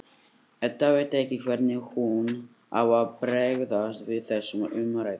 Edda veit ekki hvernig hún á að bregðast við þessum umræðum.